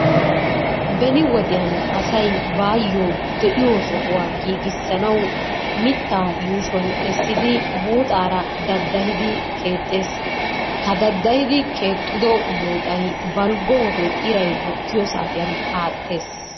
Beni wodiyan asay baayyo de'iyo sohuwa giigissanawu mittaa yuushuwan essidi buuxaara daddahidi keexxees. Ha daddahidi keexxido buuxay balggo wode iray bukkiyo saatiyan aattees.